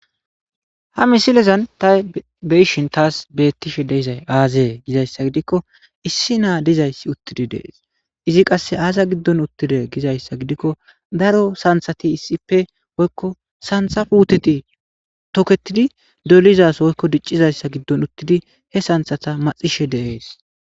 ha misilezan ta beyishin taas bettishe de7izay aazee gizayssa gidikko issi naa dizayssi uttidi dees izi qasse aaza giddon uttide gizayssa gidikko daro santhati issippe woykko santha puuteti toketidi dolizason woykko diccizayssa giddon uttidi he santhata maxishe de7ees